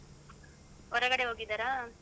ಹೊರಗಡೆ ಹೋಗಿದಾರ?